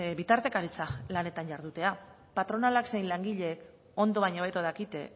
bitartekaritza lanetan jardutea patronalak zein langileek ondo baino hobeto dakite